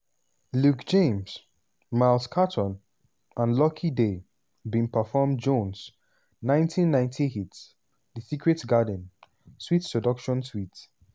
luke james miles caton and lucky daye bin perform jones' 1990 hit "the secret garden (sweet seduction suite)."